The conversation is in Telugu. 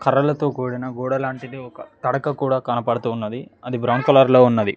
కర్రలతో కూడిన గోడ లాంటిది ఒక తడక కూడా కనపడుతున్నది అది బ్రౌన్ కలర్ లో ఉన్నది.